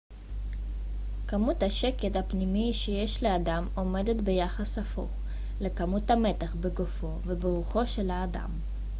כמות השקט הפנימי שיש לאדם עומדת ביחס הפוך לכמות המתח בגופו וברוחו של האדם